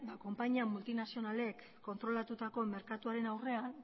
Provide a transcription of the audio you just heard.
konpainia multinazionalek kontrolatutako merkatuaren aurrean